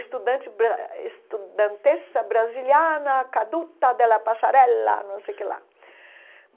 estudante bra estudanteça brasiliana, caduta de la passarela, não sei o que lá.